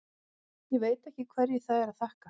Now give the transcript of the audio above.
Ég veit ekki hverju það er að þakka.